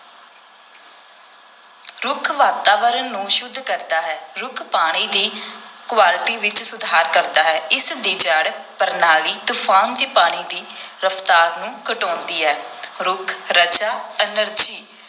ਰੁੱਖ ਵਾਤਾਵਰਨ ਨੂੰ ਸੁੱਧ ਕਰਦਾ ਹੈ, ਰੁੱਖ ਪਾਣੀ ਦੀ quality ਵਿਚ ਸੁਧਾਰ ਕਰਦਾ ਹੈ, ਇਸ ਦੀ ਜੜ੍ਹ ਪ੍ਰਣਾਲੀ ਤੂਫਾਨ ਦੇ ਪਾਣੀ ਦੇ ਰਫਤਾਰ ਨੂੰ ਘਟਾਉਂਦੀ ਹੈ, ਰੁੱਖ ਰਜਾ energy